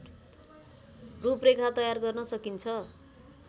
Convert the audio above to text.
रूप रेखा तयार गर्न सकिन्छ